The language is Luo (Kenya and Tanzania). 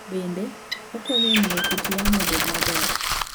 Bende, okonyo e miyo kit yamo obed maber.